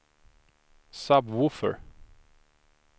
sub-woofer